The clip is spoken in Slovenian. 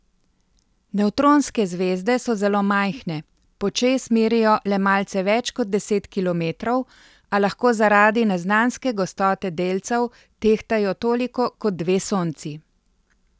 Nevtronske zvezde so zelo majhne, počez merijo le malce več kot deset kilometrov, a lahko zaradi neznanske gostote delcev tehtajo toliko kot dve Sonci.